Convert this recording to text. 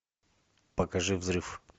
покажи взрыв